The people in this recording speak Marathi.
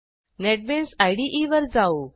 नेटबीन्स इदे वर जाऊ